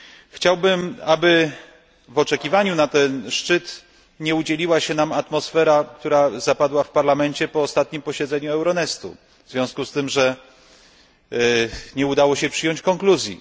Chciałbym, aby w oczekiwaniu na ten szczyt nie udzieliła się nam atmosfera, która zapadła w Parlamencie po ostatnim posiedzeniu Euronestu w związku z tym, że nie udało się przyjąć konkluzji.